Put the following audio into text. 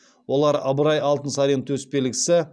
олар ыбырай алтынсарин төсбелгісі